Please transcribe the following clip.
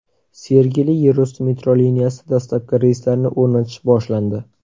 Sergeli yerusti metro liniyasida dastlabki relslarni o‘rnatish boshlandi .